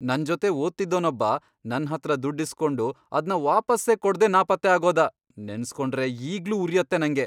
ನನ್ಜೊತೆ ಓದ್ತಿದ್ದೋನೊಬ್ಬ ನನ್ಹತ್ರ ದುಡ್ಡ್ ಇಸ್ಕೊಂಡು ಅದ್ನ ವಾಪಸ್ಸೇ ಕೊಡ್ದೇ ನಾಪತ್ತೆ ಆಗೋದ.. ನೆನ್ಸ್ಕೊಂಡ್ರೇ ಈಗ್ಲೂ ಉರ್ಯತ್ತೆ ನಂಗೆ.